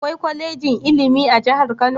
Akwai kwalejin ilimi a Kano?